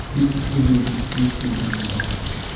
dib u deji liiskayga meelaha